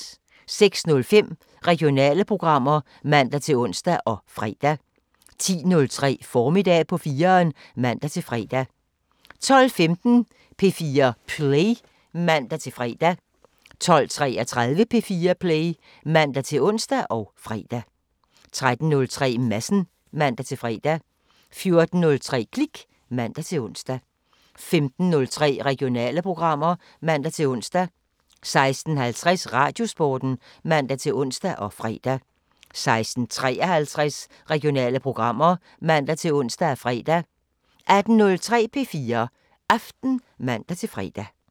06:05: Regionale programmer (man-ons og fre) 10:03: Formiddag på 4'eren (man-fre) 12:15: P4 Play (man-fre) 12:33: P4 Play (man-ons og fre) 13:03: Madsen (man-fre) 14:03: Klik (man-ons) 15:03: Regionale programmer (man-ons) 16:50: Radiosporten (man-ons og fre) 16:53: Regionale programmer (man-ons og fre) 18:03: P4 Aften (man-fre)